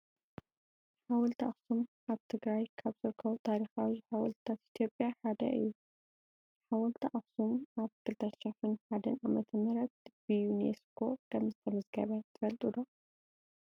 ሓወልቲ ኣክሱም ኣብ ክልል ትግራይ ካብ ዝርከቡ ታሪኻዊ ሓወልትታት ኢትዮጵያ ሓደ እዩ። ሓወልቲ ኣክሱም ኣብ 2001 ዓ.ም ብዩኔስኮ ከምተመዝገበ ትፈልጡ ዶ ?